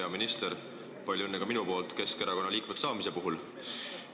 Hea minister, palju õnne ka minu poolt Keskerakonna liikmeks saamise puhul!